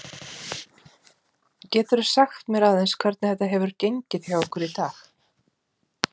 Geturðu sagt mér aðeins hvernig þetta hefur gengið hjá ykkur í dag?